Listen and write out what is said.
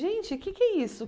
Gente, o que é que é isso?